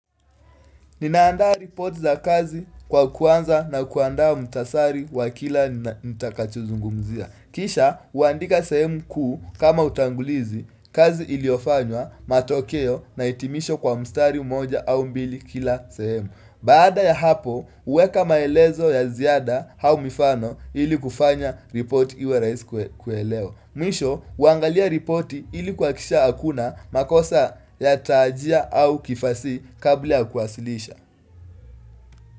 Ninaandaa report za kazi kwa kuanza na kuandaa mtasari wa kila nitakachozungumzia. Kisha, huandika sehemu kuu kama utangulizi kazi iliofanywa matokeo na itimisho kwa mstari umoja au mbili kila sehemu. Baada ya hapo, uweka maelezo ya ziada hau mifano ili kufanya ripoti iwe raisi kuelewa Mwisho, uangalia ripoti ili kuhakikisha hakuna makosa ya taajia au kifasi kabla ya kuasilisha.